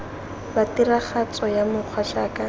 la tiragatso ya mokgwa jaaka